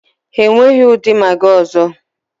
Ha enweghị ụdị Magị ọzọ.